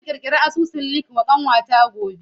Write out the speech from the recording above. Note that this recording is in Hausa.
Zan kirkiri asusun Linkedln wa ƙanwata gobe.